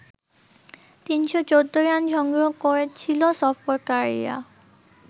৩১৪ run সংগ্রহ করেছিল সফরকারীরা